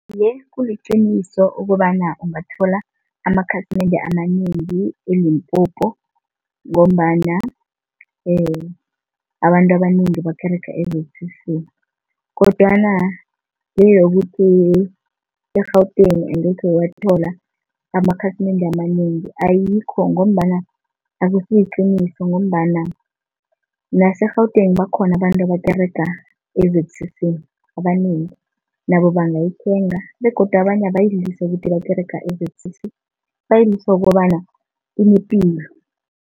Iye, kuliqiniso ukobana ungathola amakhasimende amanengi eLimpopo, ngombana abantu abanengi bakerega e-Z_C_C. Kodwana le yokuthi e-Gauteng angekhe wathola amakhasimende amanengi ayikho, ngombana akusiliqiniso ngombana nase-Gauteng bakhona abantu abakerega e-Z_C_C abanengi nabo bangayithenga. Begodu abanye bayidliswa ukuthi bakerega e-Z_C_C bayidliswa ukobana inepilo.